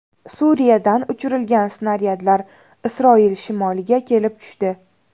Suriyadan uchirilgan snaryadlar Isroil shimoliga kelib tushdi.